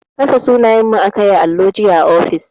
Kafe sunanyenmu aka yi a allo jiya a ofis